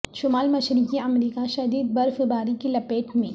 شمال مشرقی امریکہ شدید برف باری کی لپیٹ میں